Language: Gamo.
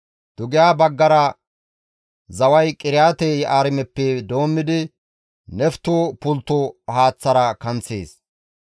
Dugeha baggara zaway Qiriyaate-Yi7aarimeppe doommidi Nefto pultto haaththara kanththees.